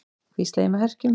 hvísla ég með herkjum.